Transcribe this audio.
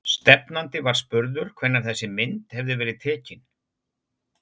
Stefnandi var spurður hvenær þessi mynd hefði verið tekin?